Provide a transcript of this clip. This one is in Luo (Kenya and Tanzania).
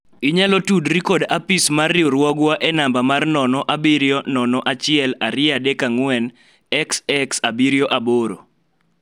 inyalo tudri kod apis mar riwruogwa e namba mar 0701234xx78